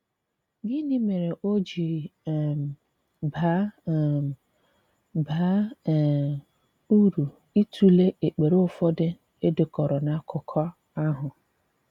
Gịnị mere o ji um bàá um bàá um uru ịtụlee èkpere ụfọdụ e dekọ̀rọ̀ n’akụkọ̀ ahụ?